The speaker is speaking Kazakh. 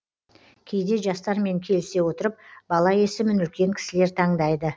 кейде жастармен келісе отырып бала есімін үлкен кісілер таңдайды